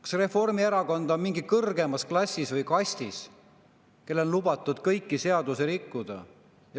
Kas Reformierakond on mingis kõrgemas klassis või kastis, et tal on lubatud kõiki seadusi rikkuda?